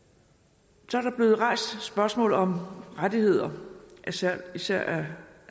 så er der blevet rejst spørgsmål om rettigheder især af